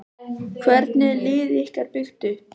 Hvernig er liðið ykkar byggt upp?